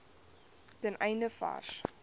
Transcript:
ten einde vars